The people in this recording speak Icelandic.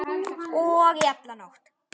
Í alla nótt.